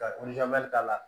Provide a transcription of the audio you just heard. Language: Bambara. Ka k'a la